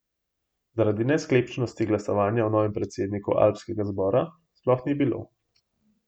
Zaradi nesklepčnosti glasovanja o novem predsedniku alpskega zbora sploh ni bilo.